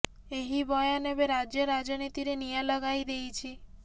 ଏହି ବୟାନ ଏବେ ରାଜ୍ୟ ରାଜନୀତିରେ ନିଆଁ ଲଗାଇ ଦେଇଛି